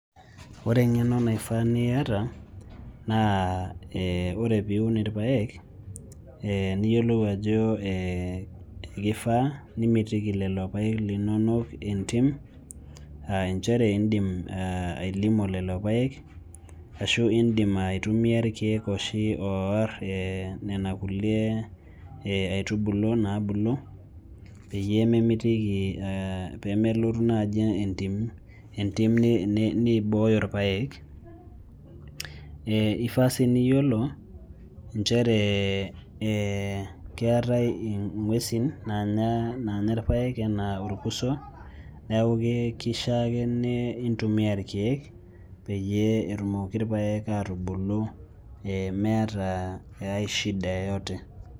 Ore eng'eno naifaa niata naa ore pee iun irpaek niyiolou ajo ee kifaa nimitiki lelo paek linonok entim aa nchere indim ai lima lelo paek ashu iindim ai [cstumia irkeek oshi oorr nena kulie ee aitubulu naabulu peyie melotu naai entim nibooyo irpaek ee ifaa sii niyiolo nchere ee keetae ng'uesin naanya irpaek enaa orkuso neeku kishiaa ake nin tumia irkeek peyie etumoki irpaek aatubulu meeta aai shida yeyote.